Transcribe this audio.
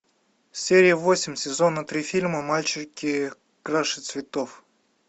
серия восемь сезона три фильма мальчики краше цветов